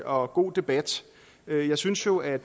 og god debat jeg synes jo at